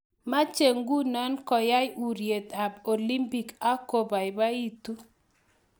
meche nguno koay uryet ab olimpik ak kokobaibaitu